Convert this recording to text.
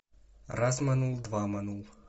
раз манул два манул